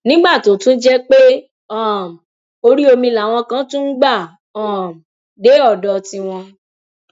nígbà tó tún jẹ pé um orí omi làwọn kan tún ń gbà um dé odò tí wọn